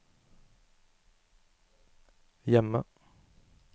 hjemme